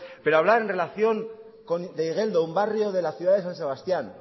pero hablar en relación de igeldo un barrio de la ciudad de san sebastián